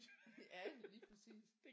Ja lige præcis